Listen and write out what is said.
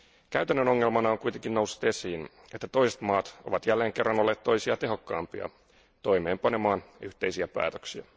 Käytännön ongelmana on kuitenkin noussut esiin, että toiset maat ovat jälleen kerran olleet toisia tehokkaampia toimeenpantaessa yhteisiä päätöksiä.